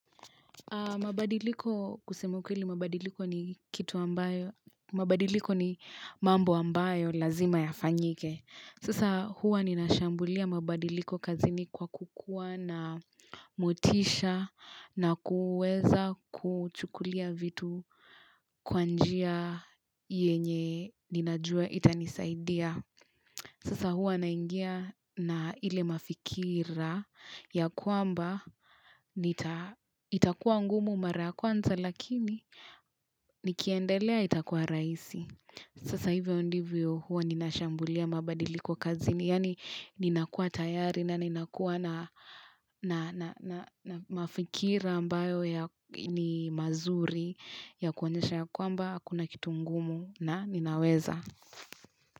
Mabadiliko kusema ukweli mabadiliko ni mambo ambayo lazima ya fanyike. Sasa hua nina shambulia mabadiliko kazini kwa kukua na motisha na kuweza kuchukulia vitu kwa njia yenye ninajua itanisaidia. Sasa huwa naingia na ile mafikira ya kwamba itakuwa ngumu mara kwanza lakini nikiendelea itakuwa rahisi. Sasa hivyo ndivyo huwa ninashambulia mabadiliko kazini. Yaani ninakua tayari na ninakua na mafikira ambayo ya ni mazuri ya kuonyesha ya kwamba hakuna kitu ngumu na ninaweza.